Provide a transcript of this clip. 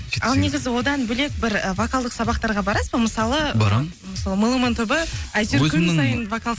ал негізі одан бөлек бір і вокалдық сабақтарға барасыз ба мысалы барам меломан тобы әйтеуір күн сайын вокал